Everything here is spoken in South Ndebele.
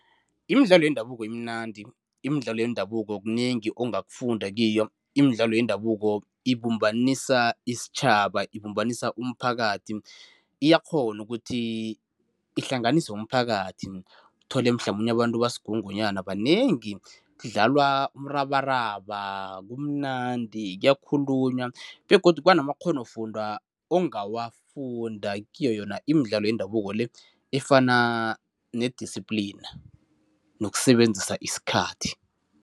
Imidlalo yendabuko imnandi, imidlalo yendabuko kunengi ongafunda kiyo, imidlalo yendabuko ibumbanisa isitjhaba, ibumbanisa umphakathi. Iyakghona ukuthi ihlanganise umphakathi, uthole mhlamunye abantu basigungunyana, banengi, kudlalwa umrabaraba, kumnandi, kuyakhulunywa begodu kubanamakghonofundwa ongawafunda kiyo yona imidlalo yendabuko le efana ne-discipline nokusebenzisa isikhathi.